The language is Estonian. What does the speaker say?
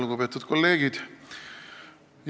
Lugupeetud kolleegid!